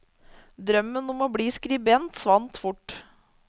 Drømmen om å bli skribent svant fort.